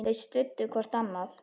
Þau studdu hvort annað.